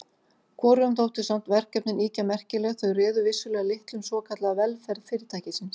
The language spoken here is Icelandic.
Hvorugum þóttu samt verkefnin ýkja merkileg þau réðu vissulega litlu um svokallaða velferð Fyrirtækisins.